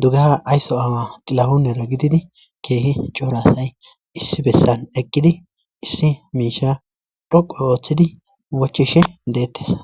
dugah aysso awa xilahunera gididi keehi coora asay issi bessan eqqidi issi miisha dhoqu ooththidi wachishe deettes